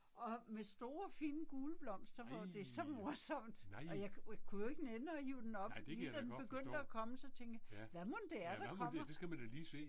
Og med store fine gule blomster på, det er så morsomt. Og jeg kunne jo ikke nænne at hive den op, lige da den begyndte at komme så tænkte jeg hvad mon det er der kommer?